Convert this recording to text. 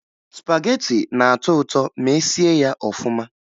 Spagetị na-atọ ụtọ ma e sie ya ọfụma